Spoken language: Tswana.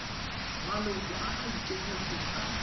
maloko a a ikemetseng a